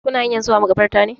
Kuna hanyan zuwa makabartar ne?